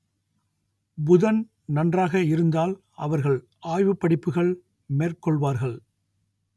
புதன் நன்றாக இருந்தால் அவர்கள் ஆய்வுப் படிப்புகள் மேற்கொள்வார்கள்